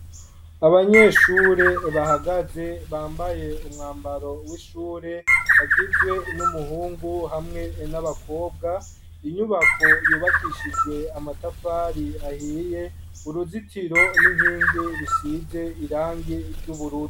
Abanyeshure bahagaze bambaye umwambaro w'ishure bagizwe n'umuhungu hamwe n'abakobwa inyubako yubakishijwe amatafari ahiye uruzitiro n'inkingi bisize irangi ry'ubururu.